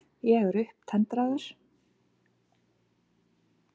Ég er upptendraður.